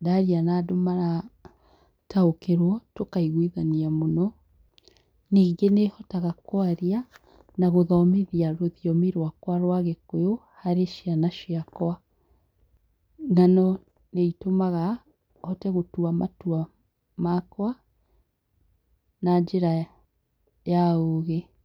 ndaria na andũ marataũkĩrwo tũkaiguithania mũno . Nyingĩ nĩhotaga kwaria na gũthomithia rũthiomi rwakwa rwa gĩkũyũ harĩ ciana ciakwa . Nano nĩitũmaga hote gũtua matua makwa na njĩra ya ũgĩ.